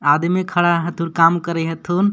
आदमी खड़ा ह तूर काम करे हेथू.